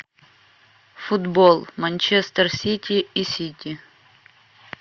футбол манчестер сити и сити